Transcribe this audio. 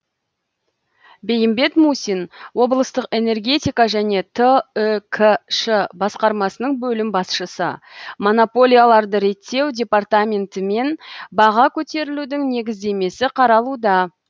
бейімбет мусин облыстық энергетика және түкш басқармасының бөлім басшысы монополияларды реттеу департаментімен баға көтерілудің негіздемесі қаралуда